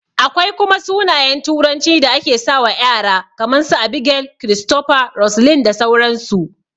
Akwai kuma sunayen turanci da ake sawa ƴara kaman su, Abigail, Christopher, Roseline da sauran su